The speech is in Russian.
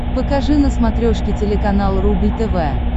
покажи на смотрешке телеканал рубль тв